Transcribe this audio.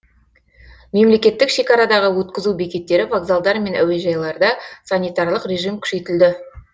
мемлекеттік шекарадағы өткізу бекеттері вокзалдар мен әуежайларда санитарлық режим күшейтілді